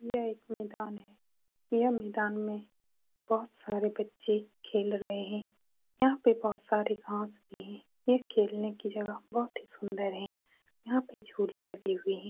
यह एक मैदान हैं। ये मैदान में बोहोत सारे बच्चे खेल रहे हैं। यहाँ पे बोहोत सारे घास भी हैं। ये खेलने की जगह बोहोत सुन्दर हैं। यहाँ पे झूले लगे हुए हैं।